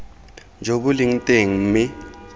jo bo leng teng mme